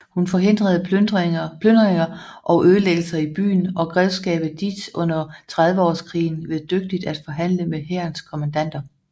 Hun forhindrede plyndringer og ødelæggelser i byen og grevskabet Dietz under Trediveårskrigen ved dygtigt at forhandle med hærens kommandanter